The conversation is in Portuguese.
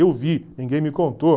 Eu vi, ninguém me contou.